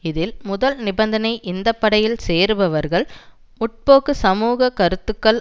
இதில் முதல் நிபந்தனை இந்தப்படையில் சேருபவர்கள் முற்போக்கு சமூக கருத்துக்கள்